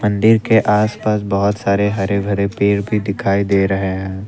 मंदिर के आसपास बहुत सारे हरे भरे पेड़ भी दिखाई दे रहे हैं।